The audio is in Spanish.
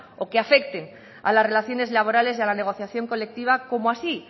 o que afecten a las relaciones laborales y a la negociación colectiva como así